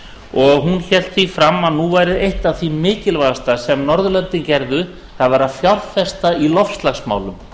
og hún hélt því fram að nú væri eitt af því mikilvægasta sem norðurlöndin gerðu að fjárfesta í loftslagsmálum